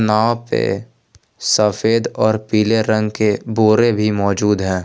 यहां पे सफेद और पीले रंग के बोरे भी मौजूद हैं।